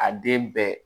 A den bɛɛ